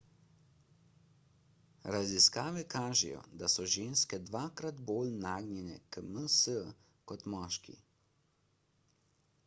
raziskave kažejo da so ženske dvakrat bolj nagnjene k ms kot moški